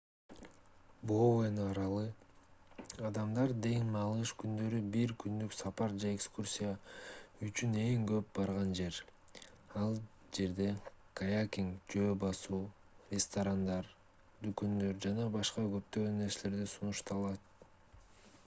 боуэн аралы адамдар дем алыш күндөрү бир күндүк сапар же экскурсия үчүн эң көп барган жер ал жерде каякинг жөө басуу ресторандар дүкөндөр жана башка көптөгөн нерселер сунушталат